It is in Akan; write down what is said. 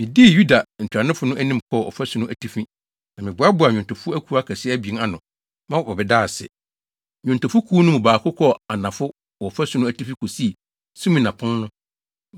Midii Yuda ntuanofo no anim kɔɔ ɔfasu no atifi, na meboaboaa nnwontofo akuw akɛse abien ano ma wɔbɛdaa ase. Nnwontofo kuw no mu baako kɔɔ anafo wɔ ɔfasu no atifi kosii Sumina Pon no.